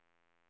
röster